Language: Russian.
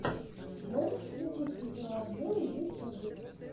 можешь включить видеообзоры ютюб